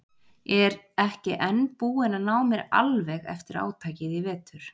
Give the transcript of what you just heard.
Er ekki enn búin að ná mér alveg eftir átakið í vetur.